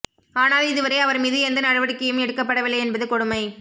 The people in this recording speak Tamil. ஆனால் இதுவரை அவர் மீது எந்த நடவடிக்கையும் எடுக்கபடவில்லை என்பது கொடுமை